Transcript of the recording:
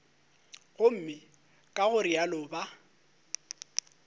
gomme ka go realo ba